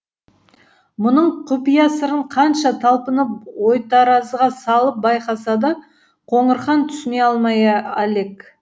мұның құпия сырын қанша талпынып ойтаразыға салып байқаса да қоңырхан түсіне алмай әлек